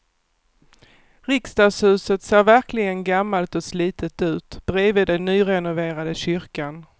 Riksdagshuset ser verkligen gammalt och slitet ut bredvid den nyrenoverade kyrkan.